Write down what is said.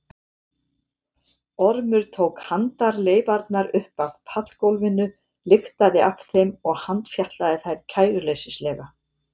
Ormur tók handarleifarnar upp af pallgólfinu lyktaði af þeim og handfjatlaði þær kæruleysislega.